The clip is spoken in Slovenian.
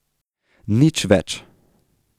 Nič več.